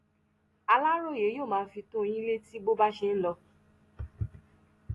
aláròye yóò máa fi tó yín létí bó bá ṣe ń lọ